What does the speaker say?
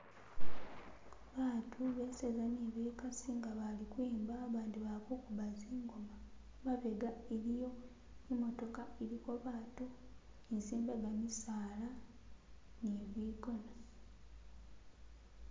Batu beseza ne bekasi nga bali kwimba bandi bali kuguba zingoma , mabega iliyo imotoka iliko batu ni zimbega misala ni bigona